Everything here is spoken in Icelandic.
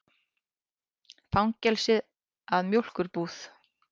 Fangelsið að mjólkurbúð.